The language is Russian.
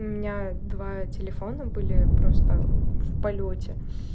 у меня два телефона были просто в полёте